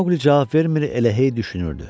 Maoqli cavab vermir, elə hey düşünürdü.